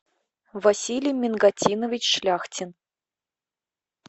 василий мингатинович шляхтин